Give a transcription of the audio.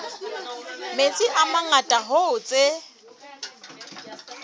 metsi a mangata hoo tse